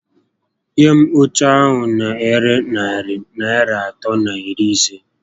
Nye m óche a na ere narị Naịra atọ na iri isé